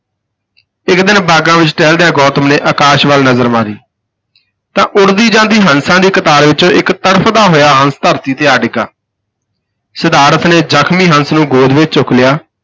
ਇਕ ਦਿਨ ਬਾਗਾਂ ਵਿਚ ਟਹਿਲਦਿਆਂ ਗੌਤਮ ਨੇ ਆਕਾਸ਼ ਵੱਲ ਨਜ਼ਰ ਮਾਰੀ ਤਾਂ ਉਡਦੀ ਜਾਂਦੀ ਹੰਸਾਂ ਦੀ ਕਤਾਰ ਵਿਚੋਂ ਇਕ ਤੜਫਦਾ ਹੋਇਆ ਹੰਸ ਧਰਤੀ ਤੇ ਆ ਡਿੱਗਾ ਸਿਧਾਰਥ ਨੇ ਜ਼ਖਮੀ ਹੰਸ ਨੂੰ ਗੋਦ ਵਿਚ ਚੁੱਕ ਲਿਆ।